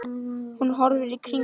Hún horfir í kringum sig.